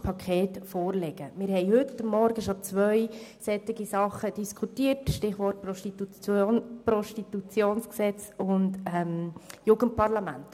Wir haben heute Morgen bereits zwei Massnahmen dieser Art diskutiert – Stichwort PGG und Jugendparlament.